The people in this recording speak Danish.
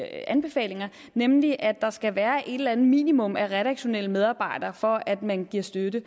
anbefalinger nemlig at der skal være et eller andet minimum af redaktionelle medarbejdere for at man giver støtte